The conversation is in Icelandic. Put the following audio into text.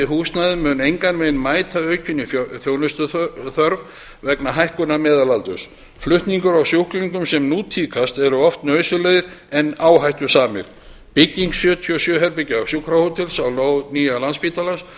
húsnæði mun engan veginn mæta aukinni þjónustuþörf vegna hækkunar meðalaldurs flutningar á sjúklingum sem nú tíðkast eru oft nauðsynlegir en áhættusamir bygging sjötíu og sjö herbergja sjúkrahótels á lóð nýs landspítala